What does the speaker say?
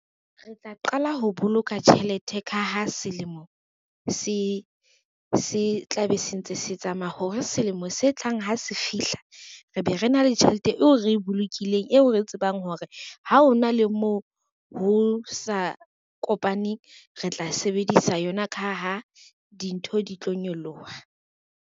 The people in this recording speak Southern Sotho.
Re tla qala ho boloka tjhelete ka ha selemo se tla be se ntse se tsamaya hore selemo se tlang ha se fihla, re be re na le tjhelete eo re e bolokileng eo re tsebang hore ha ho na le moo ho sa kopaneng. Re tla sebedisa yona ka ha dintho di tlo nyoloha.